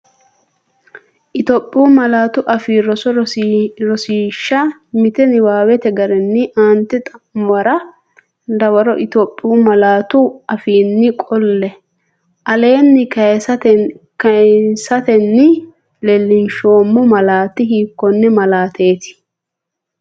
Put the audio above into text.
Itophiyu Malaatu Afii Roso Rosiishsha Mite Niwaawete garinni aante xa’muwara dawaro Itophiyu malaatu afiinni qolle, aleenni kisiisatenni leellinsheemmo malaati hiikkonne malaateeti?